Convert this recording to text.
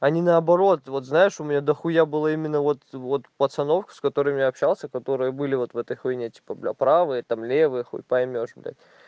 а не наоборот вот знаешь у меня дохуя было именно вот вот пацанов с которыми я общался которые были вот в этой хуйне типа блядь правые там левый хуй поймёшь блядь